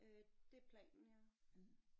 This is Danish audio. Øh det planen ja